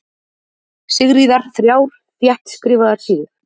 Sigríðar, þrjár þéttskrifaðar síður.